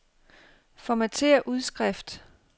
Formatér udskrift.